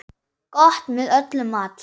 Gott með öllum mat.